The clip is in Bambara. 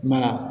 Ma